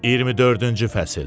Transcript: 24-cü fəsil.